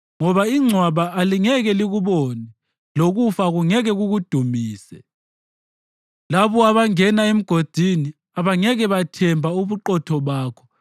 Ngoba ingcwaba alingeke likubonge lokufa akungeke kukudumise; labo abangena emgodini abangeke bathemba ubuqotho bakho.